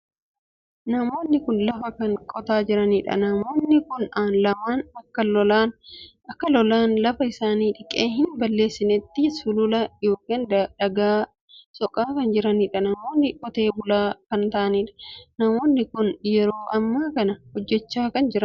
Namoonni kun lafa kan qotaa jiraniidha. namoonni kun lamaan akka lolaan lafa isaanii dhiqee hin balleessinetti sulula ykn daagaa soqaa kan jiraniidha. namoonni qotee bulaa kan taa'aniidha. namoonni kun yeroo amma kana hojjechaa kan jiraniidha.